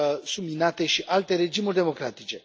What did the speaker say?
subminate și alte regimuri democratice.